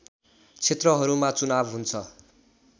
क्षेत्रहरूमा चुनाव हुन्छ